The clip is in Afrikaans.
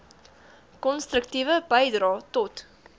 konstruktiewe bydrae tot